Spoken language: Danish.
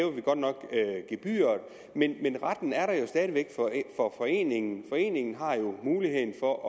vi godt nok gebyret men retten er der jo stadig væk for foreningerne foreningerne har jo muligheden for at